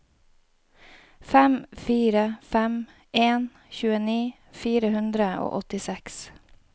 fem fire fem en tjueni fire hundre og åttiseks